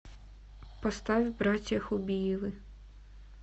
поставь братья хубиевы